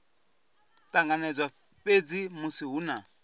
ṱanganedzwa fhedzi musi hu na